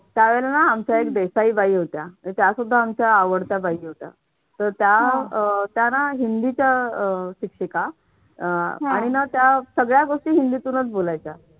त्यावेळेला ना आमच्या देसाई बाई होत्या तर त्या सुद्धा आमच्या आवडत्या बाई होत्या. तर त्या अह त्यांना हिंदीच्या अह शिक्षिका अह आणि ना त्या सगळ्या गोष्टी हिंदीतूनच बोलायच्या.